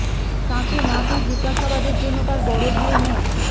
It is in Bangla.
তাঁকে না পেয়ে জিজ্ঞাসাবাদের জন্য তাঁর বড় ভাই মো